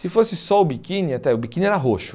Se fosse só o biquíni, até o biquíni era roxo.